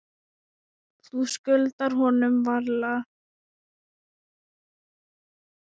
Þú skuldar honum varla.